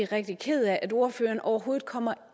rigtig ked af at ordføreren overhovedet kommer